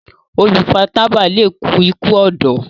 olu fà tábà lẹ kú iku ọdọ.